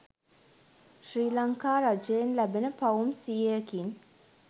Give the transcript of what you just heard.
ශ්‍රී ලංකා රජයෙන් ලැබෙන පවුම් සියයකින්